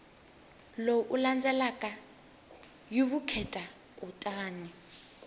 lowu landzelaka hi vukheta kutani